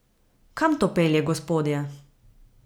Kam to pelje, gospodje?